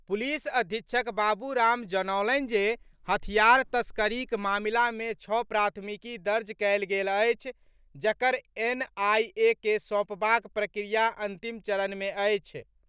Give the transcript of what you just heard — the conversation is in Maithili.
पुलिस अधीक्षक बाबूराम जनौलनि जे हथियार तस्करीक मामिला मे छओ प्राथमिकी दर्ज कयल गेल अछि, जकरा एनआईए के सौंपबाक प्रक्रिया अंतिम चरण मे अछि।